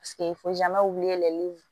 Paseke wililli